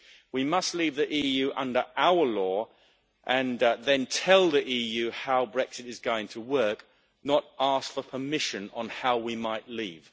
We must leave the EU under our law, and then tell the EU how Brexit is going to work, not ask for permission on how we might leave.